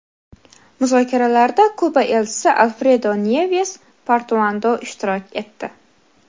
Muzokaralarda Kuba Elchisi Alfredo Nyeves Portuando ishtirok etdi.